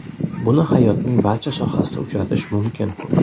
Buni hayotning barcha sohasida uchratish mumkin.